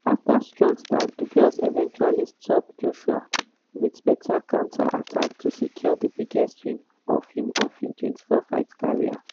afta strong start dubois eventually stop joshua wit better counter attack to secure di biggest win of im of im 24-fight career.